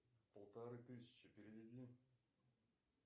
полторы тысячи переведи